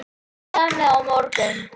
Samið á morgun